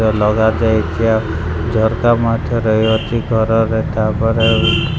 ଲଗା ଯାଇଚି ଆଉ ଝରକା ମଧ୍ୟ ରହିଅଛି ଘର ରେ ତାପରେ ଆଉ --